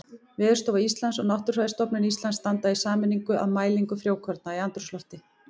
Veðurstofa Íslands og Náttúrufræðistofnun Íslands standa í sameiningu að mælingu frjókorna í andrúmslofti.